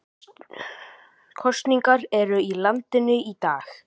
Kosningar eru í landinu í dag